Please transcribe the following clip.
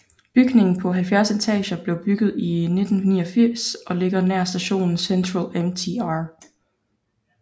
Bygningen på 70 etager blev bygget i 1989 og ligger nær stationen Central MTR